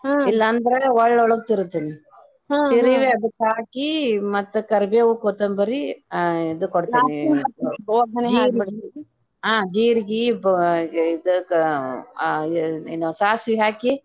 ಇಲ್ಲಾ ಅಂದ್ರ ಒಳ್ಳೊಳಗ ತಿರುತೆನಿ ತಿರುವಿ ಅದಕ್ಕ ಹಾಕಿ ಮತ್ತ ಕರಿಬೇವ್, ಕೊತ್ತಂಬರಿ ಹಾ ಇದು ಕೊಡ್ತದೆ ಹಾ ಜೀರಗಿ ಇದಕ್ಕ ಸಾಸಿವಿ ಹಾಕಿ.